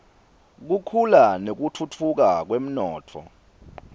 kukhula nekutfutfuka kwemnotfo